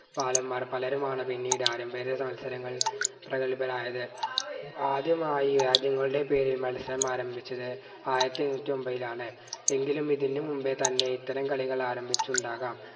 പലരുമാണ് പിന്നീട് പ്രഗത്ഭരായത് ആദ്യമായി രാജ്യങ്ങളുടെ പേരിൽ മത്സരം ആരംഭിച്ചത് ആയിരത്തി എഴുന്നൂറ്റി ഒമ്പതിലാണ് എങ്കിലും ഇതിനു മുമ്പേ തന്നെ ഇത്തരം കളികൾ ആരംഭിച്ചുണ്ടാകാം